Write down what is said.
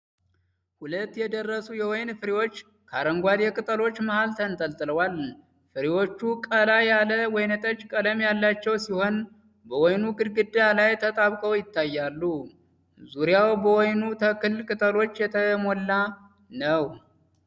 ሁለት የደረሱ ወይን ፍሬዎች ከአረንጓዴ ቅጠሎች መሀል ተንጠልጥለዋል። ፍሬዎቹ ቀላ ያለ ወይንጠጅ ቀለም ያላቸው ሲሆን በወይኑ ግንድ ላይ ተጣብቀው ይታያሉ። ዙሪያው በወይኑ ተክል ቅጠሎች የተሞላ ነው።